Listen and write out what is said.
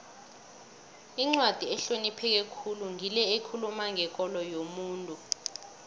incwadi ehlonipheke khulu ngile ekhuluma ngekolo yomuntu